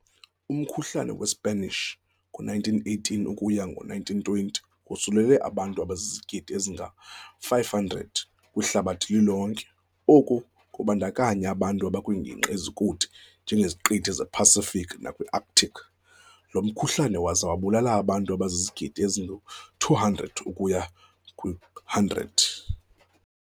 Umkhulhane weSpanish, ngowe-1918 - 1920, wosulele abantu abazizigidi ezingama-500 kwihlabathi lilonke, oku kubandakanya abantu abakwiingingqi ezikude njengeziQithi zePacific nakwiArctic, lomkhuhlane waze wabulala abantu abazizigidi ezingama-200 ukuya kwezili-100.